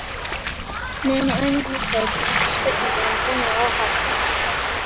Meðan á æfingum stóð kom upp spurningin um búnað áhafnarinnar.